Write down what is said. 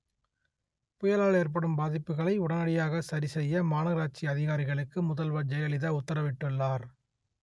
புயலா‌ல் ஏ‌ற்படு‌ம் பா‌தி‌ப்புகளை உடனடியாக ச‌ரி செ‌ய்ய மாநகரா‌ட்‌சி அ‌திகா‌ரிக‌ளு‌க்கு முத‌ல்வ‌ர் ஜெயல‌லிதா உ‌த்தர‌வி‌ட்டு‌ள்ளா‌ர்